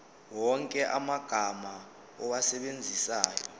wonke amagama owasebenzisayo